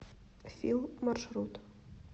фил маршрут